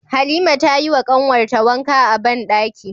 Halima tayi wa kanwar ta wanka a banɗaki